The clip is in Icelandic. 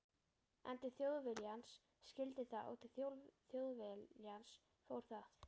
En til Þjóðviljans skyldi það og til Þjóðviljans fór það.